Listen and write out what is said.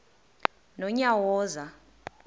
nonyawoza